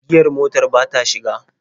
Giyar motar ba ta shiga.